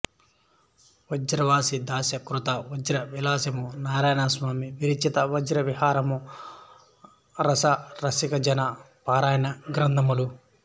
వ్రజవాసీదాస కృత వ్రజ విలాసము నారాయణస్వామి విరచిత వ్రజ విహారము రాస రసికజన పారాయణ గ్రంథములు